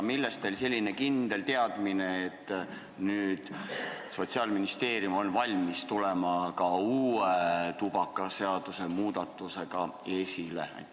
Millest on teil selline kindel teadmine, et Sotsiaalministeerium on valmis tulema välja ka uue tubakaseaduse muudatusega?